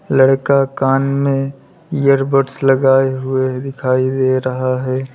लड़का कान में इयरबड्स लगाए हुए दिखाई दे रहा है।